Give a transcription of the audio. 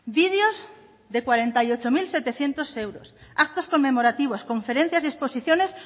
videos de cuarenta y ocho mil setecientos euros actos conmemorativos conferencias y exposiciones